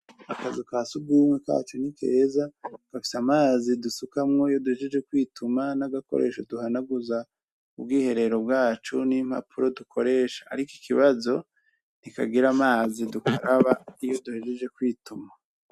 Akazu ka sugumwe kacu ni keza gafise amazi dusukamwo iyo duhejeje kwituma nagakoresho duhanaguza ubwiherero bwacu iyo duhejeje Ariko Ikibazo calo ntikagira amazi dukaraba iyo duhejeje kwituma.